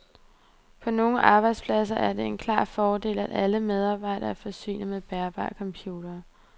På nogle arbejdspladser er det en klar fordel, at alle medarbejdere er forsynet med bærbare computere.